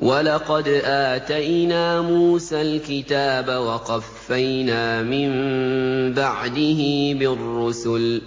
وَلَقَدْ آتَيْنَا مُوسَى الْكِتَابَ وَقَفَّيْنَا مِن بَعْدِهِ بِالرُّسُلِ ۖ